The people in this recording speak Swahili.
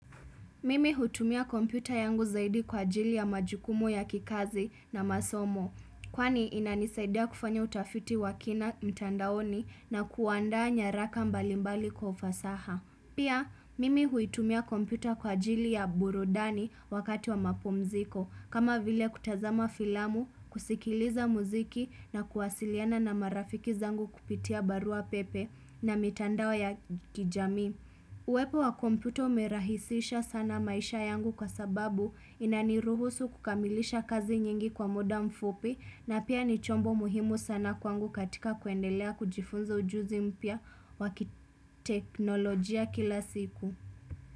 Mimi hutumia kompyuta yangu zaidi kwa ajili ya majukumu ya kikazi na masomo, kwani inanisaidia kufanya utafiti wa kina mtandaoni na kuanda nyaraka mbalimbali kwa ufasaha. Pia, mimi huitumia kompyuta kwa ajili ya burudani wakati wa mapumziko, kama vile kutazama filamu, kusikiliza mziki na kuwasiliana na marafiki zangu kupitia barua pepe na mitandao ya kijamii uwepo wa kompyuta umerahisisha sana maisha yangu kwa sababu inaniruhusu kukamilisha kazi nyingi kwa muda mfupi na pia ni chombo muhimu sana kwangu katika kuendelea kujifunza ujuzi mpya wa kiteknolojia kila siku.